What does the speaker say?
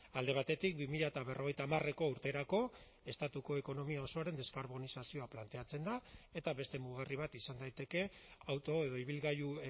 alde batetik bi mila berrogeita hamareko urterako estatuko ekonomia osoaren deskarbonizazioa planteatzen da eta beste mugarri bat izan daiteke auto edo ibilgailu